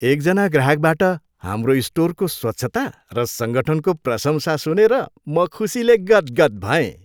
एकजना ग्राहकबाट हाम्रो स्टोरको स्वच्छता र सङ्गठनको प्रशंसा सुनेर म खुसीले गदगद भएँ।